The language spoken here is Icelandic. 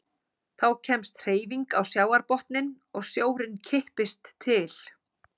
Þá kemst hreyfing á sjávarbotninn og sjórinn kippist til.